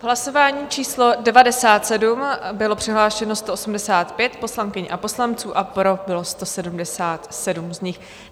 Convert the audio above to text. V hlasování číslo 97 bylo přihlášeno 185 poslankyň a poslanců a pro bylo 177 z nich.